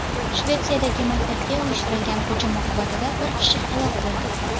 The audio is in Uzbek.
Shvetsiyadagi maktabga uyushtirilgan hujum oqibatida bir kishi halok bo‘ldi.